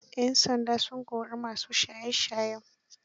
Yan sanda sun kori masu shaye shayen